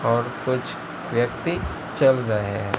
और कुछ व्यक्ति चल रहे--